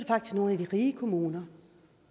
er nogle af de rige kommuner